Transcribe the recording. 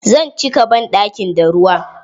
Zan cika banɗakin da ruwa.